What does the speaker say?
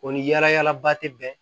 O ni yaala yaala ba tɛ bɛn